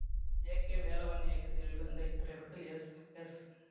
ஏ K Velavan இயக்கத்தில் வெளிவந்த இத்திரைப்படத்தில் எஸ் எஸ்